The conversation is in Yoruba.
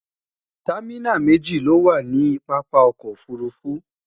támínà méjì ló wà nì pápá ọkọ̀ òfurufú